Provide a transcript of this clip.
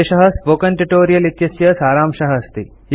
एषः spoken tutorial इत्यस्य सारांशः अस्ति